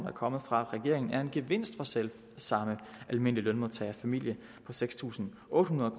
er kommet fra regeringen er en gevinst for selv samme almindelige lønmodtagerfamilie på seks tusind otte hundrede